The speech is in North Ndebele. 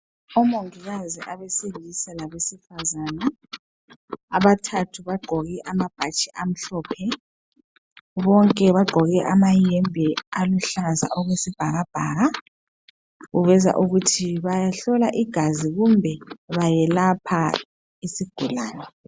Omongikazi abesilisa labesifazana, abathathu bagqoke amabhatshi amhlophe. Bonke bagqoke amayembe aluhlaza okwesibhakabhaka, kuveza ukuthi bayahlola igazi kumbe bayelapha isigulane.